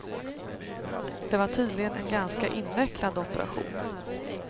Det var tydligen en ganska invecklad operation.